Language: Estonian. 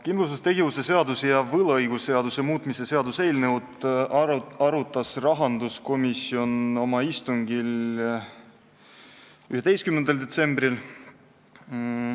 Kindlustustegevuse seaduse ja võlaõigusseaduse muutmise seaduse eelnõu arutas rahanduskomisjon oma istungil 11. detsembril.